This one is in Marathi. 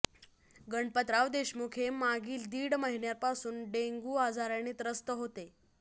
गणपतराव देशमुख हे मागील दीड महिन्यापासून डेंग्यू आजाराने त्रस्त होते